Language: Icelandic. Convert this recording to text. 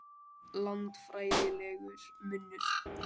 Landfræðilegur munur